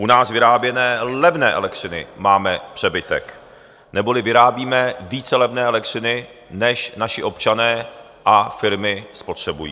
U nás vyráběné levné elektřiny máme přebytek, neboli vyrábíme více levné elektřiny, než naši občané a firmy spotřebují.